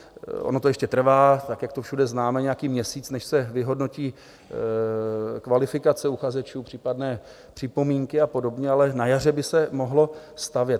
Ono to ještě trvá, tak jak to všude známe, nějaký měsíc, než se vyhodnotí kvalifikace uchazečů, případné připomínky a podobně, ale na jaře by se mohlo stavět.